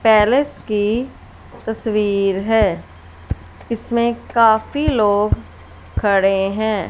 Palace की तस्वीर है इसमें काफी लोग खड़े हैं।